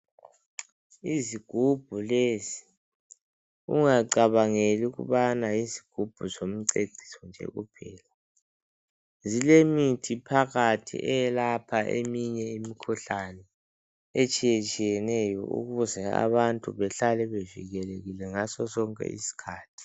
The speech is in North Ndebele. Izigubhu lezi ungacabangeli ukubana yizigubhu zomceciso nje kuphela zilemithi phakathi eyelapha eminye imikhuhlane etshiyetshiyeneyo ukuze abantu bahlale bevikelekile ngaso sonke isikhathi.